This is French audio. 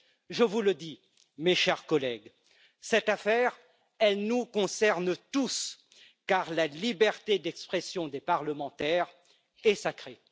Je vous le dis, mes chers collègues, cette affaire, elle nous concerne tous, car la liberté d'expression des parlementaires est sacrée.